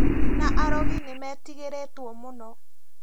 Na arogi nimeetigĩrĩtwo muno